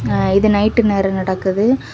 ஆ இது நைட்டு நேரம் நடக்குது.